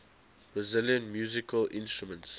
brazilian musical instruments